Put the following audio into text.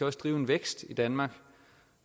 også drive en vækst i danmark